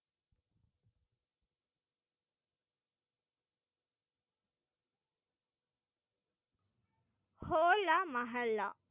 ஹோலா மகல்லா.